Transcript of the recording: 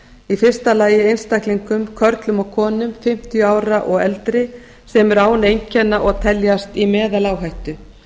í fyrsta lagi einstaklingum körlum og konum fimmtíu ára og eldri sem eru án einkenna og teljast í meðaláhættu